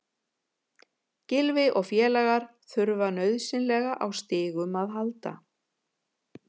Gylfi og félagar þurfa nauðsynlega á stigum að halda.